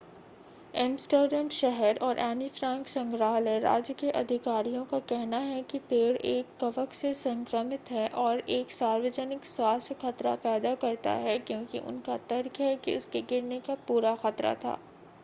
Amsterdam शहर और Anne Frank संग्रहालय राज्य के अधिकारियों का कहना है कि पेड़ एक कवक से संक्रमित है और एक सार्वजनिक स्वास्थ्य खतरा पैदा करता है क्योंकि उनका तर्क है कि उसके गिरने का पूरा खतरा था